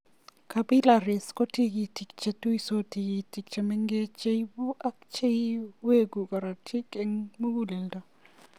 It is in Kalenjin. Capppilaries ko tigitik che tuitos tigitik chemengechen che ipe ak che iwegu korotik ing muguleldo.